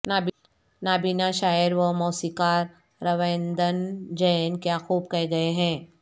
نابینا شاعر و موسیقار رویندن جین کیا خوب کہہ گئے ہیں